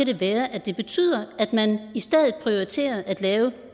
det være at det betyder at man i stedet prioriterer at lave